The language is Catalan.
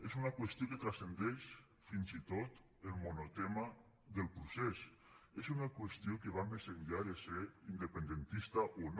és una qüestió que transcendeix fins i tot el monotema del procés és una qüestió que va més enllà de ser independentista o no